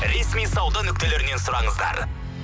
ресми сауда нүктелерінен сұраңыздар